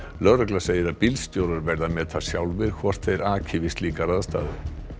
lögregla segir að bílstjórar verði að meta sjálfir hvort þeir aki við slíkar aðstæður